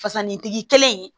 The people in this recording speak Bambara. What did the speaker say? Fasanitigi kɛlen